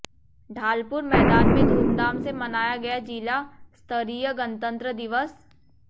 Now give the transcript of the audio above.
ढालपुर मैदान में धूमधाम से मनाया गया जिला स्तरीय गणतंत्र दिवस